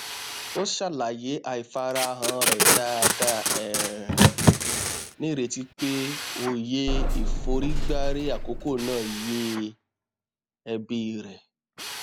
ó ṣàlàyé àìfarahàn rẹ dáadáa um nírètí pé òye ìforígbárí àkókò náà yé ẹbí rẹ